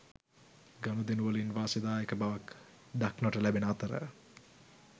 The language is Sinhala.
ගනුදෙනුවලින් වාසිදායක බවක් දක්නට ලැබෙන අතර